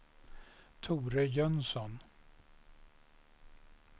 Tore Jönsson